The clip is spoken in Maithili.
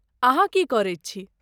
अहाँ की करैत छी?